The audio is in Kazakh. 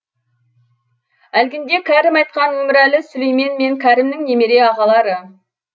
әлгінде кәрім айтқан өмірәлі сүлеймен мен кәрімнің немере ағалары